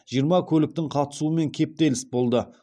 жиырма көліктің қатысуымен кептеліс болды